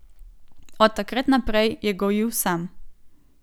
Od takrat naprej je gojil sam.